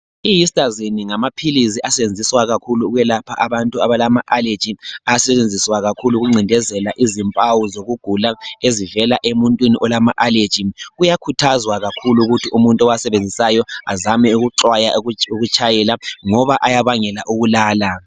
Ihistazine ngamaphilisi asetshenziswa kakhulu ukwelapha abantu abalama aleji, asetshenziswa kakhulu ukuncindezela izimpawu zokugula ezivela emuntwini olama aleji. Kuyakhuthazwa kakhulu ukuthi umuntu owasebenzisayo azame ukuxwaya ukutshayela ngoba ayabangela ukulala